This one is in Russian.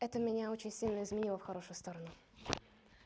это меня очень сильно изменило в хорошую сторону